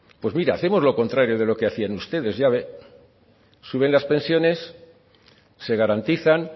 pues mira hacemos lo contrario de lo que hacían ustedes ya ve suben las pensiones se garantizan